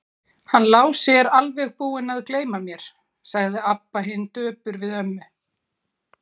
Hann Lási er bara alveg búinn að gleyma mér, sagði Abba hin döpur við ömmu.